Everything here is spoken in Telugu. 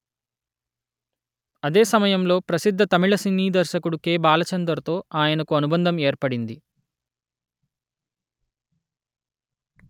అదే సమయంలో ప్రసిద్ధ తమిళ సినీ దర్శకుడు కె.బాలచందర్ తో ఆయనకు అనుబంధం ఏర్పడింది